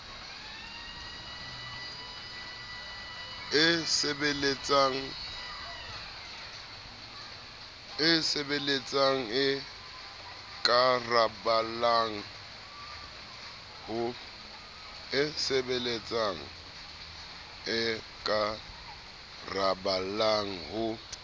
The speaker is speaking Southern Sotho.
e sebeletsang e ikaraballang ho